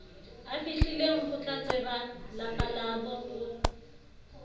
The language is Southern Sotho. afihlilengo tlatseba lapa labo o